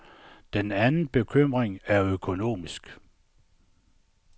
Den anden bekymring er økonomisk.